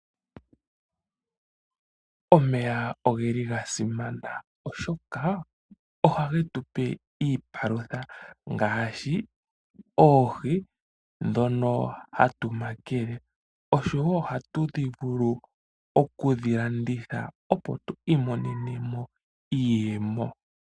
Omeya oge li ga simana, oshoka ohage tu pe iipalutha, ngaashi oohi ndhono hatu makele, osho wo ohatu vulu oku dhi landitha, opo tu imonene mo iiyemo.